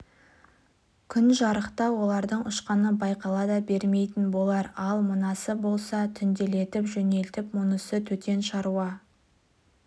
күн жарықта олардың ұшқаны байқала да бермейтін болар ал мынасы болса түнделетіп жөнелді мұнысы төтен шаруа